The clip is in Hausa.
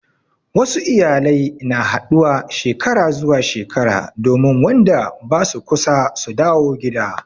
Wasu iyalai na haɗuwa Shekara zuwa shekara domin Wanda basu kusa su dawo gida.